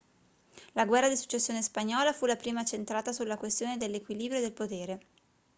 la guerra di successione spagnola fu la prima centrata sulla questione dell'equilibrio del potere